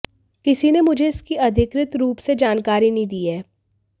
किसी ने मुझे इसकी अधिकृत रूप से जानकारी नहीं दी है